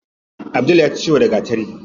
Abdul yaji ciwo da gatari.